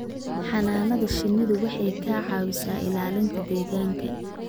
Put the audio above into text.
Xannaanada shinnidu waxay ka caawisaa ilaalinta deegaanka.